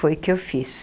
Foi o que eu fiz.